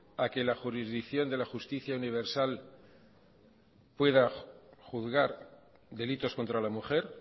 a que la jurisdicción de la justicia universal pueda juzgar delitos contra la mujer